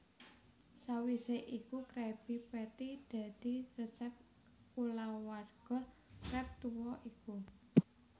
Sawise iku Krabby Patty dadi resep kulawarga Krab tuwa iku